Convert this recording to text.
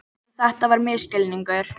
En þetta var misskilningur.